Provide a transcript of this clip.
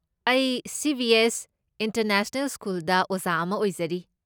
ꯑꯩ CBS. International ꯁ꯭ꯀꯨꯜꯗ ꯑꯣꯖꯥ ꯑꯃ ꯑꯣꯏꯖꯔꯤ꯫